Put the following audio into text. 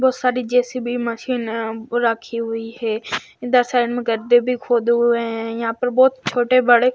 बहुत सारी JCB machine अह रखी हुई है इधर साइड गड्ढे भी खोदे हुए हैं यहां पर बहुत छोटे बड़े--